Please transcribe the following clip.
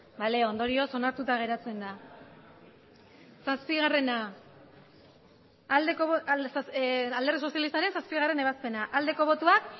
bale ondorioz onartuta geratzen da alderdi sozialistaren zazpigarrena ebazpena aldeko botoak